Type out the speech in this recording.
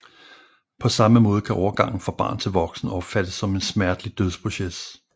På samme måde kan overgangen fra barn til voksen opfattes som en smertelig dødsproces